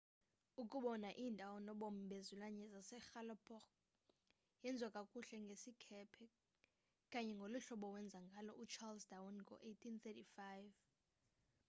ukubona iindawo nobomi bezilwanyana zase galapagos yenziwa kakuhle ngesikhephe kanye ngoluhlobo wenza ngalo u-charles darwin ngo 1835